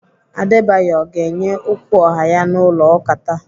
Adebayo ọ ga-enye okwu ọha ya n'ụlọ ụka taa?